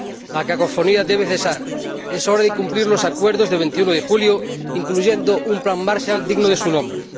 La cacofonía debe cesar y es hora de cumplir los acuerdos del 21 de julio, incluyendo un plan Marshall digno de su nombre.